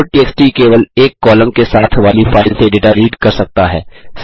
loadtxt केवल एक column के साथ वाली फाइल से डेटा रीड कर सकता है